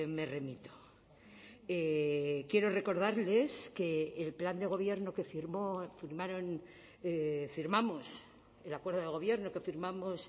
me remito quiero recordarles que el plan de gobierno que firmó firmaron firmamos el acuerdo de gobierno que firmamos